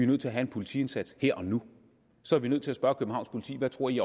nødt til at have en politiindsats her og nu så er vi nødt til at spørge københavns politi hvad tror i